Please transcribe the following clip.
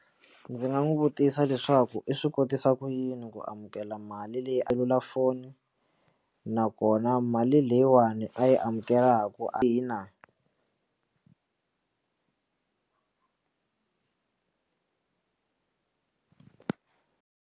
Ndzi nga n'wi vutisa leswaku i swi kotisa ku yini ku amukela mali leyi a selulafoni nakona mali leyiwani a yi amukelekaka a hina.